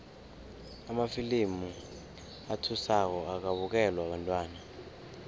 amafilimu athusako akabukelwa bantwana